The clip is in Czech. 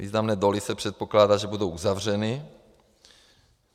Významné doly se předpokládá, že budou uzavřeny.